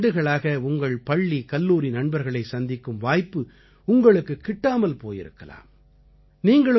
பல பத்தாண்டுகளாக உங்கள் பள்ளிகல்லூரி நண்பர்களை சந்திக்கும் வாய்ப்பு உங்களுக்குக் கிட்டாமல் போயிருக்கலாம்